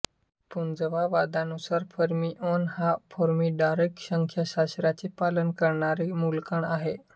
पुंजवादानुसार fermion हा Fermi Dirac संख्याशास्त्राचे पालन करणारा मूलकण आहे